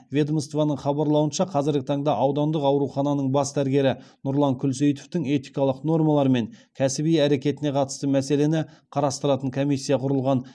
ведомствоның хабарлауынша қазіргі таңда аудандық аурухананың бас дәрігері нұрлан күлсейітовтің этикалық нормалар мен кәсіби әрекетіне қатысты мәселені қарастыратын комиссия құрылған